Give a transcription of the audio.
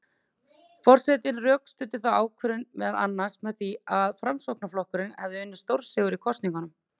Forsetinn rökstuddi þá ákvörðun meðal annars með því að Framsóknarflokkurinn hefði unnið stórsigur í kosningunum.